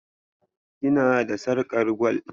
Kina da sarƙar gwal?